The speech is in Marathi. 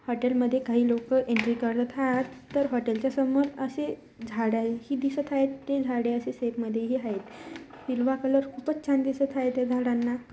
हॉटेल मध्ये काही लोकं एंट्री करत आहात तर हॉटेलच्या समोर अशे झाडं ही दिसत आहेत ते झाडे अशे सेट मध्येही आहेत. हिलवा कलर खूपच छान दिसत आहे त्या झाडांना.